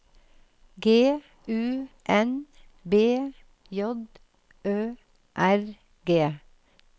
G U N B J Ø R G